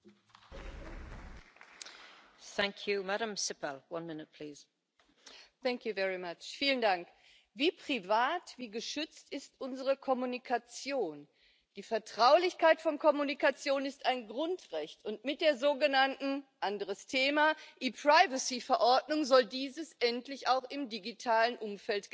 Frau Präsidentin! Wie privat, wie geschützt ist unsere Kommunikation? Die Vertraulichkeit von Kommunikation ist ein Grundrecht, und mit der sogenannten anderes Thema Verordnung soll dies endlich auch im digitalen Umfeld gelten.